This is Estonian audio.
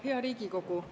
Hea Riigikogu!